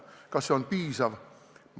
Kas see vastus on piisav?